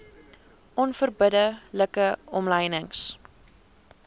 onverbidde like omlynings